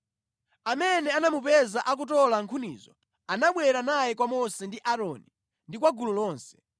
Amene anamupeza akutola nkhunizo anabwera naye kwa Mose ndi Aaroni ndi kwa gulu lonse